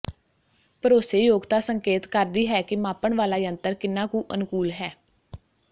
ਭਰੋਸੇਯੋਗਤਾ ਸੰਕੇਤ ਕਰਦੀ ਹੈ ਕਿ ਮਾਪਣ ਵਾਲਾ ਯੰਤਰ ਕਿੰਨਾ ਕੁ ਅਨੁਕੂਲ ਹੈ